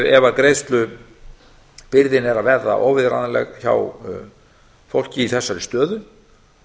ef greiðslubyrðin er að verða óviðráðanleg hjá fólki í þessari stöðu